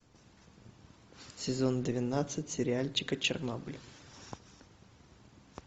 сезон двенадцать сериальчика чернобыль